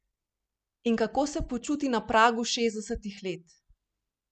In kako se počuti na pragu šestdesetih let?